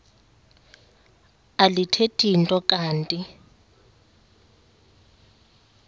alithethi nto kanti